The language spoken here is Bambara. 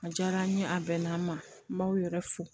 A diyara n ye a bɛn'an ma n b'aw yɛrɛ fo